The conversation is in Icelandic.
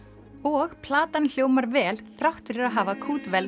og platan hljómar vel þrátt fyrir að hafa